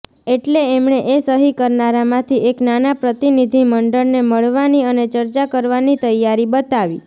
એટલે એમણે એ સહી કરનારામાંથી એક નાના પ્રતિનિધિમંડળને મળવાની અને ચર્ચા કરવાની તૈયારી બતાવી